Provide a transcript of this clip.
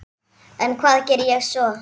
En hvað geri ég svo?